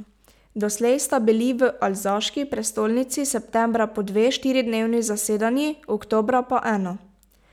Doslej sta bili v alzaški prestolnici septembra po dve štiridnevni zasedanji, oktobra pa eno.